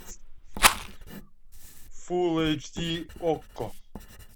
фулл эйч ди окко